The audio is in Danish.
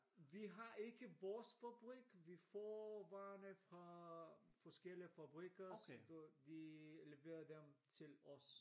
Vi har ikke vores fabrik vi får varene fra forskellige fabrikker så de leverer dem til os